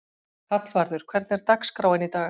Hallvarður, hvernig er dagskráin í dag?